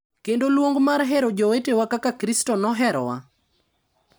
Kendo luong mar hero jowetewa kaka Kristo noherowa.